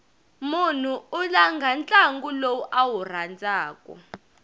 mnhu u langha ntlangu lowu a wu rhandzaku